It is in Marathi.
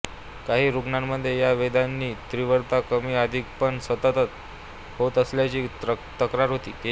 काहीं रुग्णामध्ये या वेदनांची तीव्रता कमी अधिक पण सतत होत असल्याची तक्रार केली